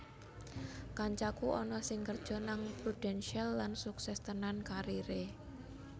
Kancaku ana sing kerjo nang Prudential lan sukses tenan karir e